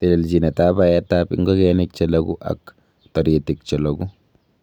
Telelchinetab baetab ingogenik che loogu ak toritik che loogu.